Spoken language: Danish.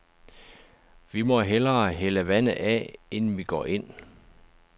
Vi må hellere hælde vandet af, inden vi går ind.